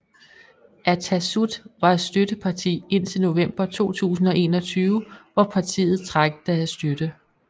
Atassut var støtteparti indtil november 2021 hvor partiet trak deres støtte